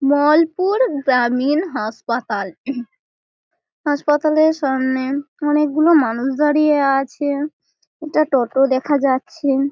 মলপুর গ্রামীণ হাসপাতাল। হাসপাতালের সামনে অনেকগুলো মানুষ দাঁড়িয়ে আছে। একটা টোটো দেখা যাচ্ছে ।